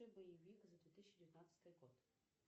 боевик за две тысячи девятнадцатый год